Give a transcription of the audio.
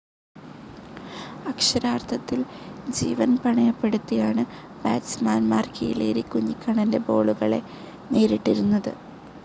അക്ഷരാർത്ഥത്തിൽ ജീവൻ പണയപ്പെടുത്തിയാണ് ബാറ്റ്സ്മാൻമാർ കീലേരി കുഞ്ഞിക്കണ്ണൻ്റെ ബോളുകളെ നേരിട്ടിരുന്നത്.